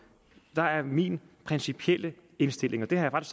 er er min principielle indstilling og det har jeg